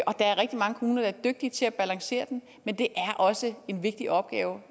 og der er rigtig mange kommuner der er dygtige til at balancere den men det er også en vigtig opgave